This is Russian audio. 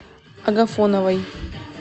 агафоновой